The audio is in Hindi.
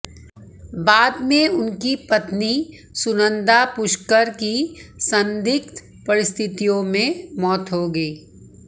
बाद में उनकी पत्नी सुनंदा पुष्कर की संदिग्ध परिस्थितियों में मौत हो गई